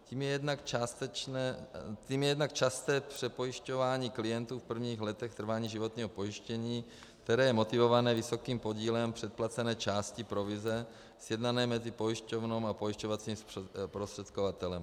Tím je jednak časté přepojišťování klientů v prvních letech trvání životního pojištění, které je motivováno vysokým podílem předplacené části provize sjednané mezi pojišťovnou a pojišťovacím zprostředkovatelem.